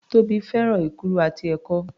Tóbi fẹ́ràn èkuru àti ẹ̀kọ.